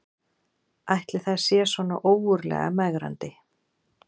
Ætli það sé svona ógurlega megrandi